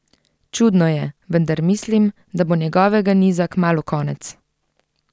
Čudno je, vendar mislim, da bo njegovega niza kmalu konec.